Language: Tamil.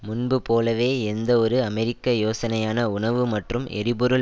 முன்பு போலவே எந்த ஒரு அமெரிக்க யோசனையான உணவு மற்றும் எரிபொருள்